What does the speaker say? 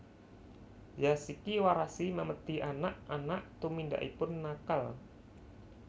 Zashiki warashi Memedi anak anak tumindakipun nakal